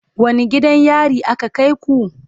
Wane gidan yari aka kai ku?